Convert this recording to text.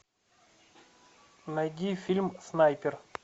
найди фильм снайпер